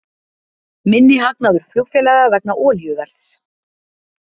Minni hagnaður flugfélaga vegna olíuverðs